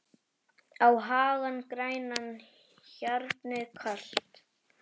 á hagann grænan, hjarnið kalt